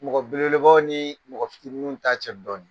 Mɔgɔ belebelebaw ni mɔgɔ fitiniw ta cɛ dɔni.